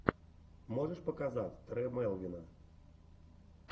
можешь показать тре мелвина